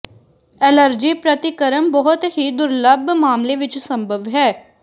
allergy ਪ੍ਰਤੀਕਰਮ ਬਹੁਤ ਹੀ ਦੁਰਲੱਭ ਮਾਮਲੇ ਵਿੱਚ ਸੰਭਵ ਹੈ